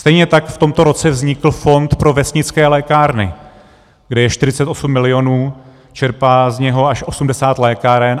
Stejně tak v tomto roce vznikl fond pro vesnické lékárny, kde je 48 milionů, čerpá z něj až 80 lékáren.